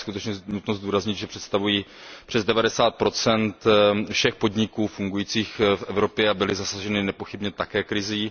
Je skutečně nutno zdůraznit, že představují přes 90 všech podniků fungujících v Evropě a byly zasaženy nepochybně také krizí.